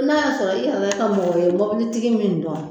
N'a y'a i yɛrɛ ka mɔgɔ bɛ mobilitigi min dɔn